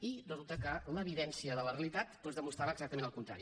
i resulta que l’evidència de la realitat doncs demostrava exactament el contrari